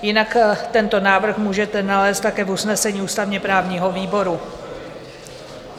Jinak tento návrh můžete nalézt také v usnesení ústavně-právního výboru.